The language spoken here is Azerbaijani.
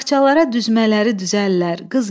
Taxtçalara düzmələri düzəllər.